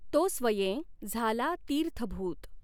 तो स्वयें झाला तीर्थभूत।